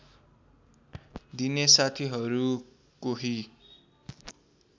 दिने साथीहरू कोही